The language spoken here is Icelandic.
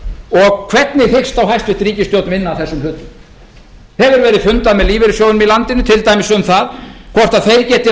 og hvernig hyggst þá hæstvirt ríkisstjórn vinna að þessum hlutum hefur verið fundað með lífeyrissjóðunum í landinu til dæmis um það hvort þeir geti